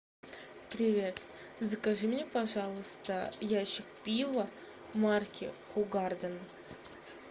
привет закажи мне пожалуйста ящик пива марки хугарден